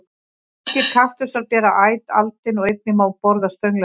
Margir kaktusar bera æt aldin og einnig má borða stöngla þeirra.